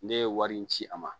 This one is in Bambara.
Ne ye wari in ci a ma